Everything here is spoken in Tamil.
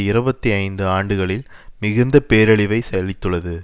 இருபத்தி ஐந்து ஆண்டுகளில் மிகுந்த பேரழிவை செவித்துள்ளது